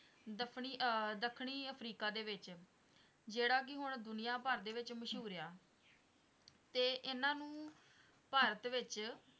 ਦੱਫਣੀ ਆਹ ਦੱਖਣੀ ਅਫਰੀਕਾ ਦੇ ਵਿੱਚ ਜਿਹੜਾ ਕੀ ਹੁਣ ਦੁਨੀਆ ਭਰ ਦੇ ਵਿੱਚ ਮਸ਼ਹੂਰ ਆ ਤੇ ਇਹਨਾਂ ਨੂੰ ਭਾਰਤ ਵਿੱਚ